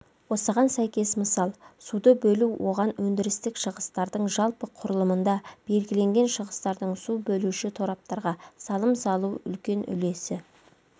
осыған сәйкес мысал суды бөлу оған өндірістік шығыстардың жалпы құрылымында белгіленген шығыстардың су бөлуші тораптарға салым салу үлкен үлесі